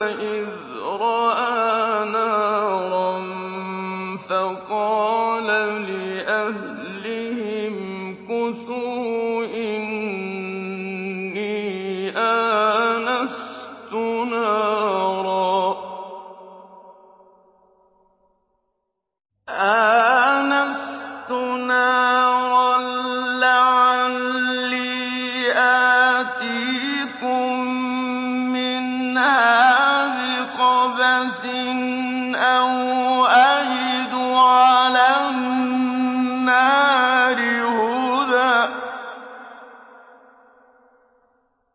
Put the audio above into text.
إِذْ رَأَىٰ نَارًا فَقَالَ لِأَهْلِهِ امْكُثُوا إِنِّي آنَسْتُ نَارًا لَّعَلِّي آتِيكُم مِّنْهَا بِقَبَسٍ أَوْ أَجِدُ عَلَى النَّارِ هُدًى